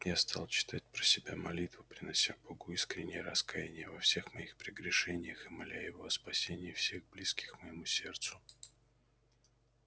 я стал читать про себя молитву принося богу искреннее раскаяние во всех моих прегрешениях и моля его о спасении всех близких моему сердцу